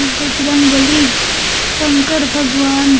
बजरंग बली शंकर भगवान--